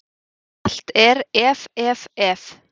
Allt er, ef, ef, ef.